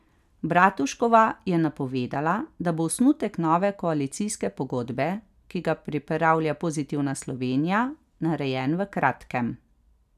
Bratuškova je napovedala, da bo osnutek nove koalicijske pogodbe, ki ga pripravlja Pozitivna Slovenija, narejen v kratkem.